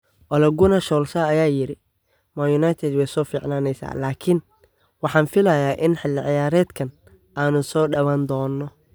Ole Gunnar Solskjaer ayaa yidhi: "Man United way soo fiicnaanaysaa" Laakiin waxaan filayaa in xili ciyaareedkan aanu soo dhawaan doono.